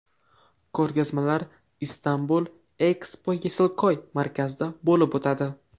Ko‘rgazmalar Istanbul Expo Yesilkoy markazida bo‘lib o‘tadi.